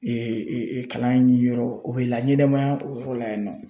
kalan yɔrɔ o bɛ laɲɛnɛmaya o yɔrɔ la yennɔ.